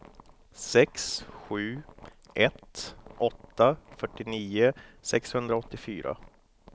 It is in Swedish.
sex sju ett åtta fyrtionio sexhundraåttiofyra